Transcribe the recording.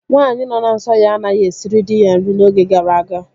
Nwaanyị nọ na nsọ ya anaghị esiri dị ya nri n'oge gara aga